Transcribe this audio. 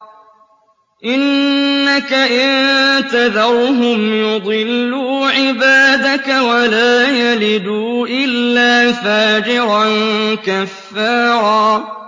إِنَّكَ إِن تَذَرْهُمْ يُضِلُّوا عِبَادَكَ وَلَا يَلِدُوا إِلَّا فَاجِرًا كَفَّارًا